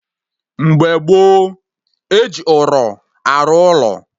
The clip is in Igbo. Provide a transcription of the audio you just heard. Mgbe gboo, eji ụrọ arụ ụlọ